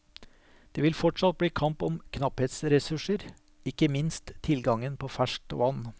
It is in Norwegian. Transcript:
Det vil fortsatt bli kamp om knapphetsressurser, ikke minst tilgangen på ferskt vann.